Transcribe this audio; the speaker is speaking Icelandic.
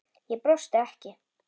Ég brosti ekki.